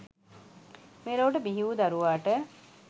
මෙලොවට බිහි වූ දරුවාට